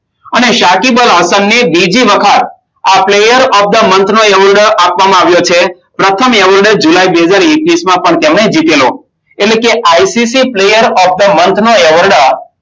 અને સકિબ અલહસનને બીજી વખત આ પ્લેયર ઓફ ધ મન્થ નું એવોર્ડ આપવામાં આવ્યો છે. પ્રથમ એવોર્ડ જુલાઈ બે હજાર એકવીસ માં તેમણે જીત્યો હતો. એટલે કે ICC player of the month award